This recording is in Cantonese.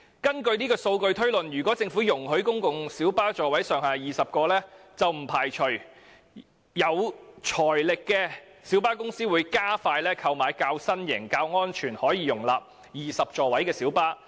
按此數據推算，如果政府容許提高公共小巴座位上限至20個，不排除有財力的小巴公司會加快購買較新型及較安全，並可容納20個座位的小巴。